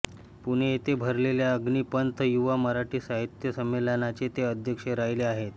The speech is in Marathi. पुणे येथे भरलेल्या अग्निपंख युवा मराठी साहित्य संमेलनाचे ते अध्यक्ष राहिले आहेत